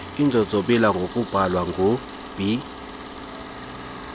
inzonzobila ngokubhalwa ngub